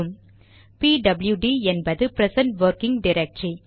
B W D என்பது present working directory